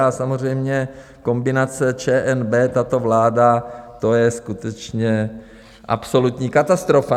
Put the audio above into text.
A samozřejmě kombinace ČNB - tato vláda, to je skutečně absolutní katastrofa.